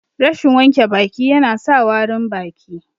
Rashin wanke baki ya na sa warin baki